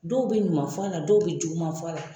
Dɔw bɛ ɲuman fɔ a la dɔw bɛ juguman fɔ a la.